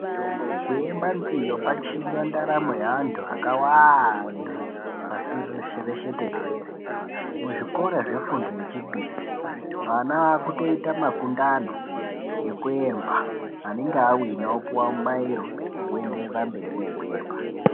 Kuemba nziyo kwachinja ndaramo dzeanthu akawanda pashi rino reshe tenderere, muzvikora zvefundo yechipiri ana aakutoita makundano ekuemba anenge awina opuwa mubairo wekuenderera mberi nekuemba.